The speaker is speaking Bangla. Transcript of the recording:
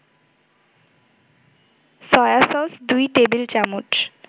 সয়াসস ২ টেবিল-চামচ